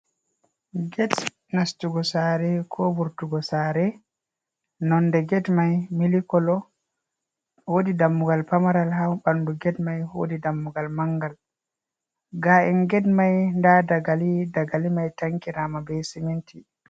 Gate nastugo sare ko vurtugo Sare, Nonde Gate Mai Milk Colour ,Wodi Dammugal Pamaral ha ɓandu Gate Mai. Wodi Dammugal Mangal ga’en Gate Mai, Nda Dagali dagali mai takkirama be Siminti.